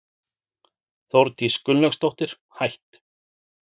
Þórdís Gunnlaugsdóttir, hætt